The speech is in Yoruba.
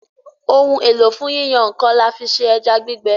Ohun èlò fún yíyan nǹkan, là fí ṣe ẹja gbígbẹ.